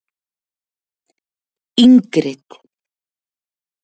Ingrid